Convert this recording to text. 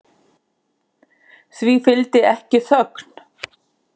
Því fylgdi ekki þögn.